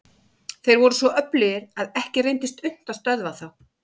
Þeir voru svo öflugir að ekki reyndist unnt að stöðva þá.